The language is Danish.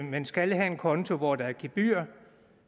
man skal have en konto hvor der er gebyr